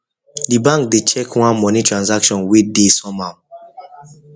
the bank dey check one money transaction wey dey somehow